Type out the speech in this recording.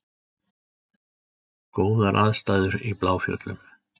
Góðar aðstæður í Bláfjöllum